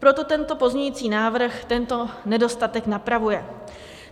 Proto tento pozměňovací návrh tento nedostatek napravuje.